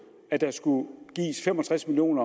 at der skulle gives fem og tres million